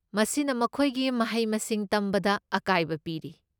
ꯃꯁꯤꯅ ꯃꯈꯣꯏꯒꯤ ꯃꯍꯩ ꯃꯁꯤꯡ ꯇꯝꯕꯗ ꯑꯀꯥꯏꯕ ꯄꯤꯔꯤ꯫